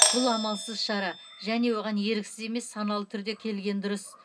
бұл амалсыз шара және оған еріксіз емес саналы түрде келген дұрыс